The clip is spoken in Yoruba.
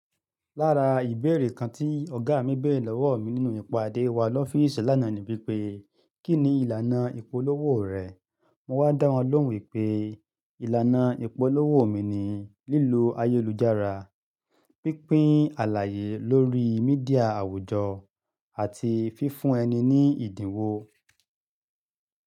Lára ìbéèrè kan tí ọ̀gá mi béèrè lọ́wọ́ mi nínú ìpàdé wa lọ́fíìsì lánàá ni wípé, "kí ni ìlànà ìpolówó rẹ?" Mo wá dá wọn lóhùn wípé, ìlànà ìpolówó mi ni lílo ayélujára, pínpín àlàyé lórí Mídíà àwùjọ àti fífún ẹni ní ìdínwó.